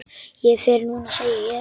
Ég fer núna, segi ég.